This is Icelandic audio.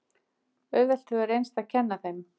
Auðvelt hefur reynst að kenna þeim.